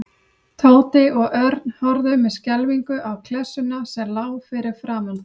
Tóti og Örn horfðu með skelfingu á klessuna sem lá fyrir framan þá.